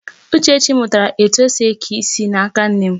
Uchechi mụtara etu esi eke isi n'aka nne m.